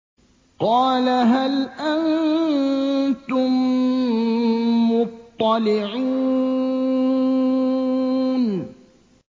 قَالَ هَلْ أَنتُم مُّطَّلِعُونَ